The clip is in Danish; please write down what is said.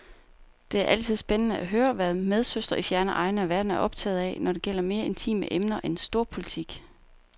Det er altid spændende at høre, hvad medsøstre i fjerne egne af verden er optaget af, når det gælder mere intime emner end storpolitik.